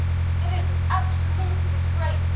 it is an absolute disgrace